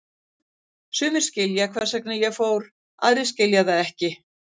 Sumir skilja hvers vegna ég fór, aðrir skilja það ekki.